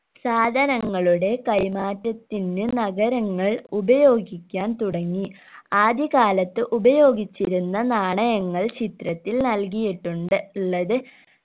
സാധനങ്ങളുടെ കൈമാറ്റത്തിന് നഗരങ്ങൾ ഉപയോഗിക്കാൻ തുടങ്ങി ആദ്യകാലത്ത് ഉപയോഗിച്ചിരുന്ന നാണയങ്ങൾ ചിത്രത്തിൽ നൽകിയിട്ടുണ്ട് ള്ളത്